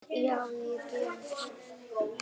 Já, ég geri það